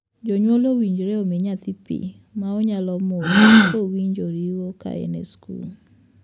Jonyuol owinjore omii nyathi pii ma onyalo modho kowinjo riyo ka en e skul.